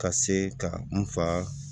Ka se ka n fa